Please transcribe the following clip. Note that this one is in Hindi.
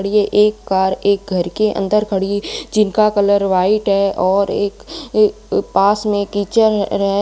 ये एक कार एक घर के अंदर खड़ी जिनका कलर व्हाइट है और एक अह पास में किचन है।